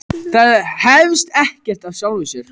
Það hefst ekkert af sjálfu sér.